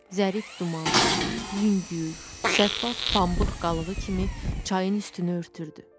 Zərif duman, yüngül, şəffaf pambıq qalığı kimi çayın üstünü örtürdü.